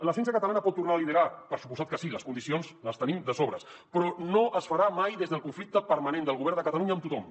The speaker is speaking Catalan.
la ciència catalana pot tornar a liderar per descomptat que sí les condicions les tenim de sobres però no es farà mai des del conflicte permanent del govern de catalunya amb tothom